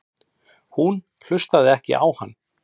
Hún hlustaði ekki á hann.